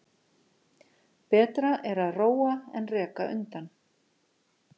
Betra er að róa en reka undan.